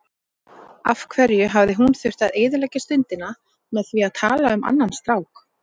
Af hverju hafði hún þurft að eyðileggja stundina með því að tala um annan strák.